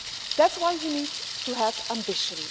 That's why we need to have ambition.